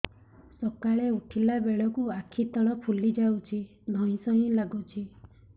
ସକାଳେ ଉଠିଲା ବେଳକୁ ଆଖି ତଳ ଫୁଲି ଯାଉଛି ଧଇଁ ସଇଁ ଲାଗୁଚି